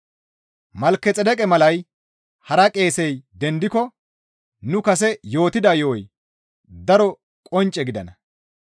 Malkexeedeqe malay hara qeesey dendiko nu kase yootida yo7oy daro qoncce gidenna.